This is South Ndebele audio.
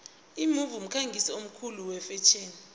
imove mkhangisi omkhulu wefetjheni